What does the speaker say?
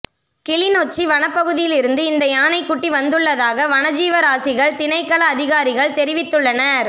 கிளிநொச்சி வனப்பகுதியிலிருந்து இந்த யானைக்குட்டி வந்துள்ளதாக வனஜீவராசிகள் திணைக்கள அதிகாரிகள் தெரிவித்துள்ளனர்